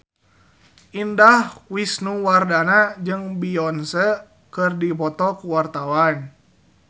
Indah Wisnuwardana jeung Beyonce keur dipoto ku wartawan